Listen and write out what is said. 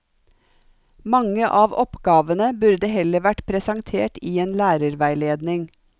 Mange av oppgavene burde heller vært presentert i en lærerveiledning.